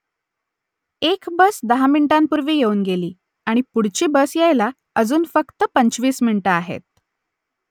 एक बस दहा मिनिटांपूर्वी येऊन गेली आणि पुढची बस यायला अजून फक्त पंचवीस मिनिटं आहेत